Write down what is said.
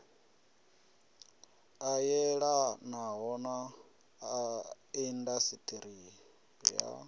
a yelanaho na indasiṱiri ya